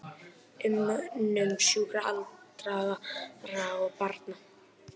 Umönnun sjúkra, aldraðra og barna.